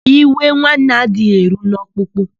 Iwe nwanne adịghị eru n'ọkpụkpụ.